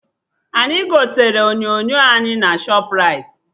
Anyị gotere onyonyo anyị na Shọpraịti